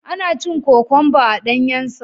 Ana cin kokwamba a danyensa.